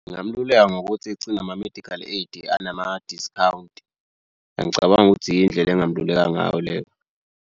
Ngingamululeka ngokuthi ecinge ama-medical aid anama-discount. Angicabangi ukuthi yindlela engingamluleka ngayo leyo.